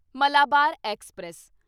Malabar express